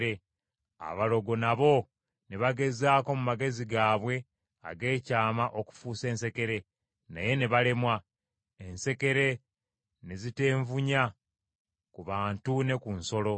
Abalogo nabo ne bagezaako mu magezi gaabwe ag’ekyama okufuusa ensekere, naye ne balemwa. Ensekere ne ziteevuunya ku bantu ne ku nsolo.